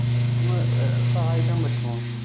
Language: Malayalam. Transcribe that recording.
ഒന്ന് അഹ് സഹായിക്കാൻ പറ്റുമോ?